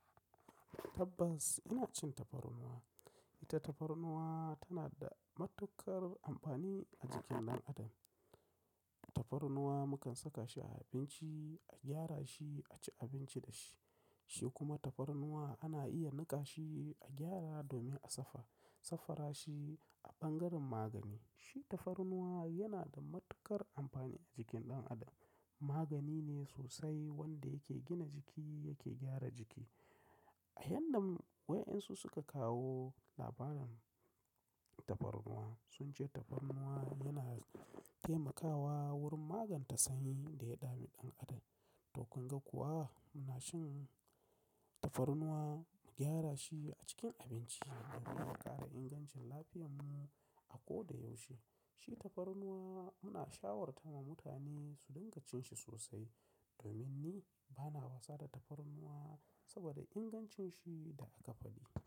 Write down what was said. Tabbas ina cin tafarnuwa. Ita tafarnuwa tana da matuƙar amfani a jikin ɗan adam. Tafarnuwa mukan saka shi a abinci, a gyara shi, a ci abinci da shi, shi kuma tafarnuwa ana iya niƙa shi, a gyara domin a safa, safara shi a ɓangaren magani. Shi tafarnuwa yana da matuƙar amfani a jikin ɗan adam. Magani ne sosai wanda yake gina jiki, yake gyara jiki. A yanda waƴansu suka kawo labarin tafarnuwa sun ce tafarnuwa yana taimakawa wurin magance sanyin da yadami ɗan adam. To kun ga kuwa muna shan tafarnuwa, nmu gyara shi a cikin abinci domin ya ƙara ingancin lafiyarmu a koda yaushe. Shi tafarnuwa, muna shawarta wa mutane su dinga cin shi sosai domin ni bana wasa da tafarnuwa sabida ingancin shi da aka faɗi.